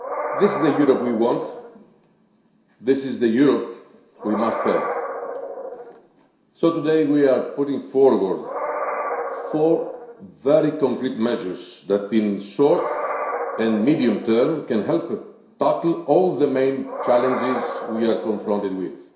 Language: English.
This is the Europe we want. This is the Europe we must have. So today we are putting forward four very concrete measures that in the short and medium term can help tackle all the major challenges we are confronted with.